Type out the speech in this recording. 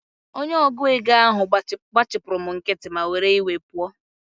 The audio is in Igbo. Onye ọgụ égo ahụ gbachipuru m nkịtị, m wee were iwe pụọ